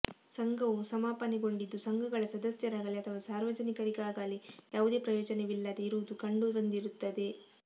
ಸಂಘವು ಸಮಾಪನೆಗೊಂಡಿದ್ದು ಸಂಘಗಳ ಸದಸ್ಯರಾಗಲೀ ಅಥವಾ ಸಾರ್ವಜನಿಕರಿಗಾಗಲೀ ಯಾವುದೇ ಪ್ರಯೋಜನವಿಲ್ಲದೇ ಇರುವುದು ಕಂಡುಬಂದಿರುತ್ತದೆ